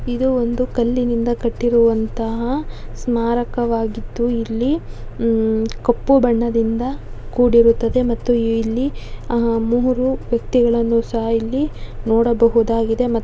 ಇದು ಒಂದು ಕಲ್ಲಿನಿಂದ ಕಟ್ಟಿರುವಂತಹ ಸ್ಮಾರಕವಾಗಿತ್ತು ಇಲ್ಲಿ ಹಮ್ಮ್ ಕಪ್ಪು ಬಣ್ಣದಿಂದ ಕೂಡಿರುತ್ತದೆ ಮತ್ತು ಇಲ್ಲಿ ಆಹ್ಹ್ ಮೂರೂ ವ್ಯಕ್ತಿಗಳನ್ನು ಸಹ ಇಲ್ಲಿ ನೋಡಬಹುಡಗಿದೆ ಮತ್ತ್ --